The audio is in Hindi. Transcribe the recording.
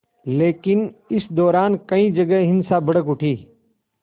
लेकिन इस दौरान कई जगह हिंसा भड़क उठी